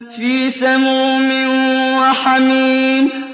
فِي سَمُومٍ وَحَمِيمٍ